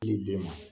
den ma